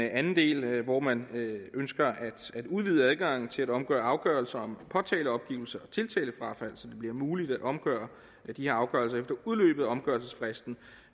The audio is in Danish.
anden del hvor man ønsker at udvide adgangen til at omgøre afgørelser om påtaleopgivelse og tiltalefrafald så det bliver muligt at omgøre de her afgørelser efter udløbet af omgørelsesfristen